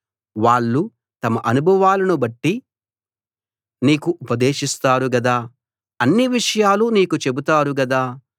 వాళ్ళు తమ అనుభవాలను బట్టి నీకు ఉపదేశిస్తారు గదా అన్ని విషయాలు నీకు చెబుతారు గదా